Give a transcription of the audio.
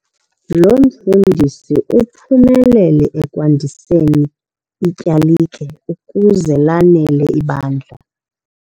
Lo mfundisi uphumelele ekwandiseni ityalike ukuze lanele ibandla.